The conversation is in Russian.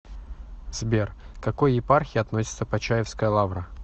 сбер к какой епархии относится почаевская лавра